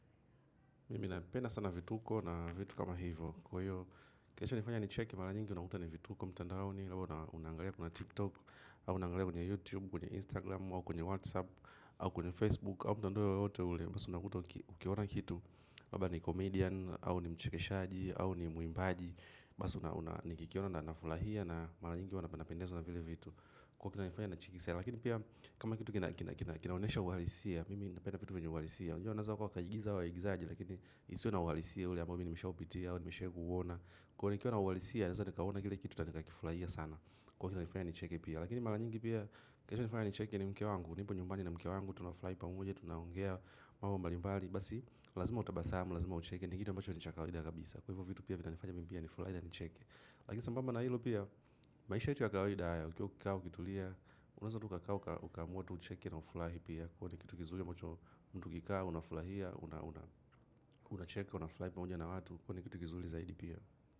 Mimi napenda sana vituko na vitu kama hivo. Kilicho nifanya nicheke mara nyingi unakuta ni vituko mtandaoni unangalia kuna tiktok au unaangalia kwenye YouTube kwenye Instagram au kwenye WhatsApp au kwenye facebook au mtandao wowote ule basi unakuta ukiona kitu labda ni comedian au ni mchekeshaji au ni muimbaji basi nikikiona nafurahia na mara nyingi hua napendezwa na vile vitu kwani kinanifanya nahisia lakini pia kama kitu kinaonyesha uhalisia mimi napenda vitu vyenye uhalisia unajua waeza wakaigiza hawa waigizaji kakini isiwe na uhalisia ule amboa nishawai upitia au nishawai kuiona ya nifu ya nifu ya nifu ya nifu ya nifu ya nifu ya nifu ya nifu ya nifu ya nifu ya nifu ya nifu ya nifu ya nifu ya nifu ya nifu ya nifu ya nifu ya nifu ya nifu ya nifu ya nifu ya nifu ya nifu ya nifu ya nifu ya nifu ya nifu ya nifu ya nifu ya mimi pia nifurahi na nicheke lakini sambamba na hilo pia maisha yetu ya kawaida haya ukiwa ukikaa ukitulia unaweza tu ukakaa ukaamua tu ucheke na ufurahi pia uone kitu kizuri ambacho ukikaa unafurahia unacheka unafurahi pamoja na watu ni kitu kizuri pia.